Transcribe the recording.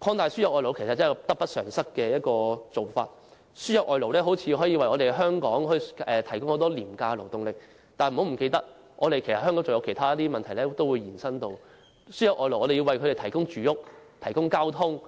擴大輸入外勞其實得不償失，雖然看似能夠為香港提供廉價勞動力，但不要忘記，外勞可能令香港面對其他問題，例如我們要為外勞提供住屋、交通、